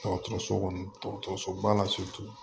Dɔgɔtɔrɔso kɔnɔ dɔgɔtɔrɔsoba la